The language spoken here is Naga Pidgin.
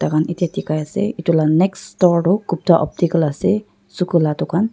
takan etiya dikhai ase edu la next store tu gupta optical ase suku la dukan--